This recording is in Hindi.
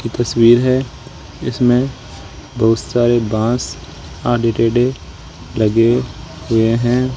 ये तस्वीर है इसमें बहुत सारे बांस आड़े टेढ़े लगे हुए हैं।